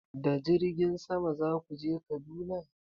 Da jirgin sama za ku je Kaduna?